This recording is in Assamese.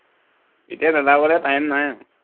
এতিয়া বেবাবলে time নাই আৰু